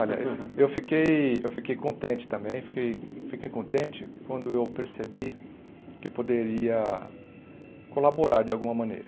Olha, eu fiquei eu fiquei contente também, fiquei fiquei contente quando eu percebi que poderia colaborar de alguma maneira.